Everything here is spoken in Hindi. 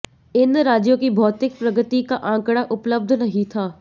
इन राज्यों की भौतिक प्रगति का आंकड़ा उपलब्ध नहीं था